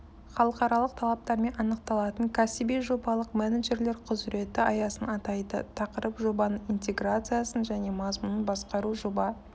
халықаралық талаптармен анықталатын кәсіби жобалық менеджерлер құзыреті аясын атайды тақырып жобаның интеграциясын және мазмұнын басқару жоба